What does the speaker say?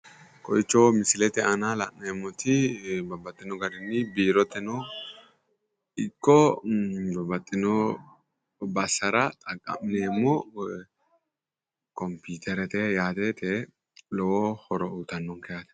Kowiicho misilete aana la'neemmoti babbaxxitino garinni biiroteno ikko babbaxxitino bassara xaqqa'mineemmo kompiiterete yaate lowo horo uyiitannonke yaate.